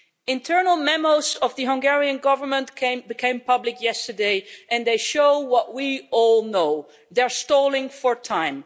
Internal memos of the Hungarian Government became public yesterday and they show what we all know they are stalling for time.